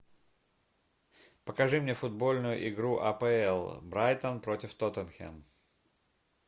покажи мне футбольную игру апл брайтон против тоттенхэм